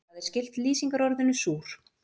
Það er skylt lýsingarorðinu súr.